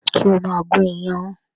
Ṣé o máa gún iyán?